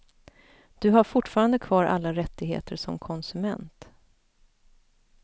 Du har fortfarande kvar alla rättigheter som konsument.